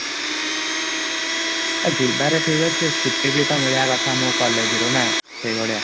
ଏ ଯିବା ରେ ଥିକ ଅଛି ଛୁଟି ଦିନ ମିଳିବ କଥା ଆମକୁ କୋଲଲାଗେ ନା ସେଇଭଳିଆ |